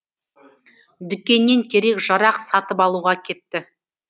дүкеннен керек жарақ сатып алуға кетті